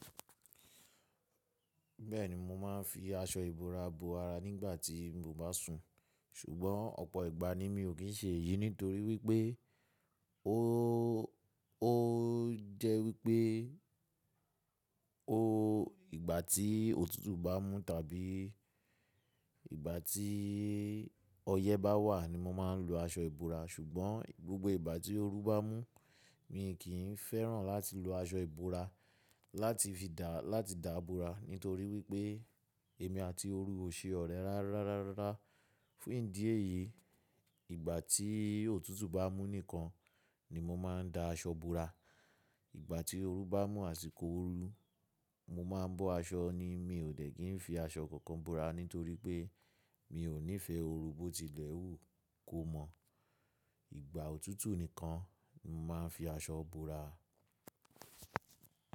Bẹ́ẹ̀ni, mo máa ń fi aṣọ ìbora bo ara nígbà tí mo bá sùn. Ṣugbọ́n ọ̀pọ̀ ìgbà ni mi ò kì í ṣe èyí nítorí wípẹ́ ó jẹ́ wípẹ́, ó ìgbà tí òtútù bá mú tàbí ìgbà tí ọyẹ́ bá wà ni mo máa ń lo aṣọ ìbora, ṣugbọ́n gbogbo ìgbà tí ooru bá mú, mi kì í fẹ́ràn láti lo aṣọ ìbora láti fi dáàbò ra nítorí wípẹ́ èmi àti ooru ò ṣe ọ̀rẹ́ rárá. Fún ìdí èyí, ìgbà tí òtútù bá mú nìkan ni mo máa ń da aṣọ bo ara. Ìgbà tí ooru bá mù àsiko oru, mo máa ń bọ́ aṣọ ni, mi ò dẹ̀ kí ń fi aṣọ kankan bo ara nítorí pé mi ò nífẹ̀ẹ́ ooru bó tilẹ̀ hù kó mọ́. Ìgbà òtútù nìkan ni mo máa ń fi aṣọ bo ara.